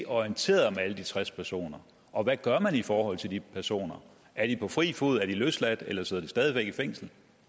orienteret om alle de tres personer og hvad gør man i forhold til de personer er de på fri fod er de løsladt eller sidder de stadig væk i fængsel